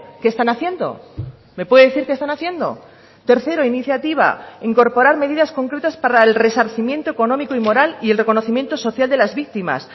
qué están haciendo me puede decir qué están haciendo tercero iniciativa incorporar medidas concretas para el resarcimiento económico y moral y el reconocimiento social de las víctimas